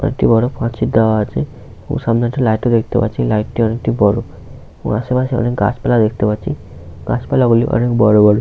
একটি বড় পাঁচিল দেওয়া আছে । এবং সামনে একটি লাইট ও দেখতে পাচ্ছি । লাইট - টি অনেকটা বড় ওর পাশে অনেক গাছপালা দেখতে পাচ্ছি । গাছপালা গুলি অনেক বড় বড় ।